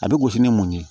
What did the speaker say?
A bɛ gosi ni mun ye